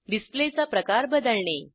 डिसप्लेचा प्रकार बदलणे